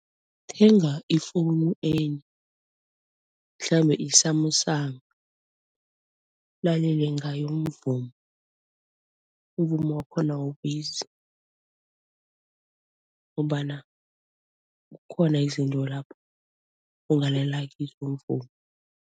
Thenga i-phone enye, mhlambe i-Samsung ulalele ngayo umvumo. Umvumo wakhona awubizi ngombana kukhona izinto lapho ongalalela kizo umvumo.